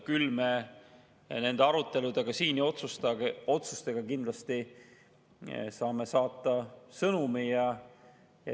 Küll aga me oma aruteludega siin ja otsustega kindlasti saame saata sõnumi.